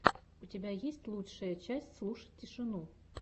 у тебя есть лучшая часть слушать тишину